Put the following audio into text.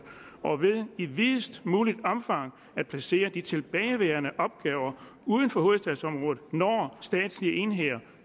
og ved i videst muligt omfang at placere de tilbageværende opgaver uden for hovedstadsområdet når statslige enheder